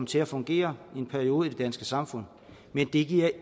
til at fungere i en periode i det danske samfund men det giver